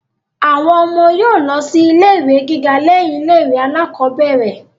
Àwọn ọmọ yóò lọ sí ilé ìwé gíga lẹ́yìn ilé ìwé alákọ́bẹ̀rẹ̀